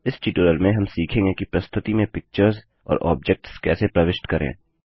इस ट्यूटोरियल में हम सीखेंगे कि प्रस्तुति में पिक्चर्स और ऑब्जेक्ट्स कैसे प्रविष्ट करें